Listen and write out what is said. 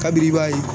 Kabini i b'a ye